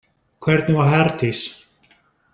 Hvernig var Herdís?